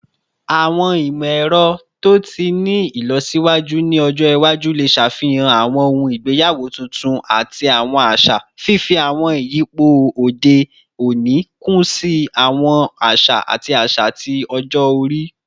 Awọn imọ-ẹrọ to ti ni ilọsiwaju ni ọjọ iwaju le ṣafihan awọn ohun igbeyawo tuntun ati awọn aṣa, fifi awọn iyipo ode oni kun si awọn aṣa ati aṣa ti ọjọ-ori